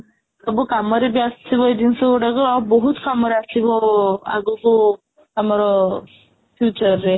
ସବୁ କାମରେ ବି ଆସିବ ଏଇ ଜିନିଷ ଗୁଡାକ ଆଉ ବହୁତ କାମରେ ଆସିବ ଆଗକୁ ଆମର future ରେ